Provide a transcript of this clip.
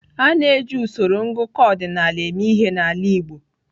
A na-eji usoro ngụkọ ọdịnala eme ihe n'ala Igbo.